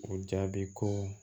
O jaabi ko